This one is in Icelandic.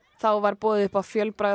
þá var boðið upp á